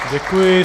Děkuji.